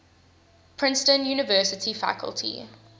princeton university faculty